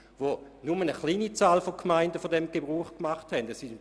Dort macht nur eine kleine Anzahl von Gemeinden Gebrauch von dieser Möglichkeit.